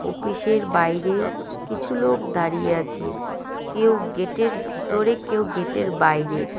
অপিসের বাইরে কিছু লোক দাঁড়িয়ে আছে কেউ গেটের ভিতরে কেউ গেটের বাইরে।